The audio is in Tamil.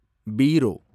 பீரோ